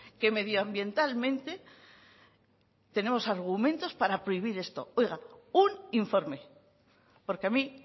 que medio ambientalmente tenemos argumentos para prohibir esto oiga un informe porque a mí